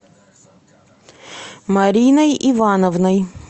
мариной ивановной